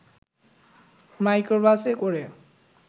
মাইক্রোবাসে করে